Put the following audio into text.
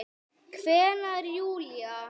kveinar Júlía.